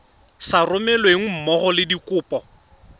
sa romelweng mmogo le dikopo